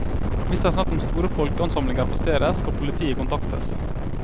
Hvis det er snakk om store folkeansamlinger på stedet, skal politiet kontaktes.